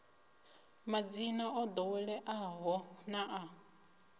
madzina o ḓoweleaho na a